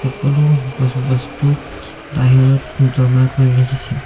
সকলো বচো বস্তু বাহিৰত জমা কৰি ৰাখিছে।